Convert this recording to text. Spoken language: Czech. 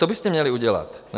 To byste měli udělat, ne?